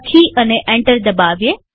લખી અને એન્ટર દબાવીએ